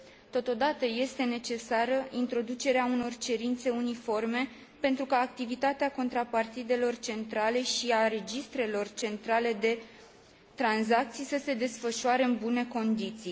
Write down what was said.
Totodată, este necesară introducerea unor cerințe uniforme, pentru ca activitatea contrapartidelor centrale și a registrelor centrale de tranzacții să se desfășoare în bune condiții.